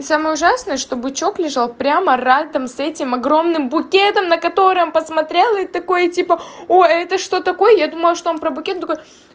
самое ужасное что бычок лежал прямо рядом с этим огромным букетом на котором посмотрел и такой типа ой это что такое я думала что он про букет такой